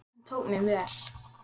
Hann tók mér vel.